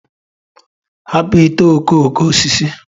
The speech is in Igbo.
Hapụ ite okooko osisi.